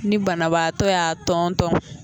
Ni banabaatɔ y'a tɔntɔn